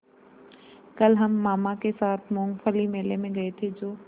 कल हम मामा के साथ मूँगफली मेले में गए थे जो